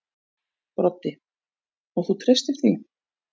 Broddi: Og þú treystir því?